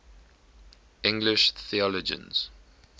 english theologians